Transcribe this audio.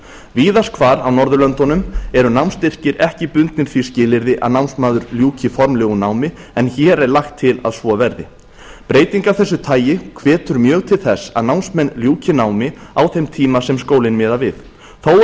víðast hvar á norðurlöndunum eru námsstyrkir ekki bundnir því skilyrði að námsmaður ljúki formlegu námi en hér er lagt til að svo verði breyting af þessu tagi hvetur mjög til þess að námsmenn ljúki námi á þeim tíma sem skólinn miðar við þó